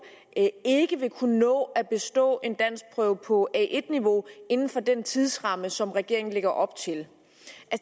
ikke vil kunne nå at bestå en danskprøve på a1 niveau inden for den tidsramme som regeringen lægger op til